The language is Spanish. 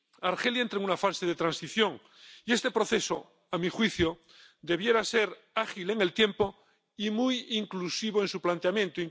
Argelia entra en una fase de transición, y este proceso, a mi juicio, debiera ser ágil en el tiempo y muy inclusivo en su planteamiento